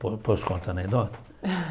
Po posso contar a anedota?